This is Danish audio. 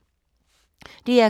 DR K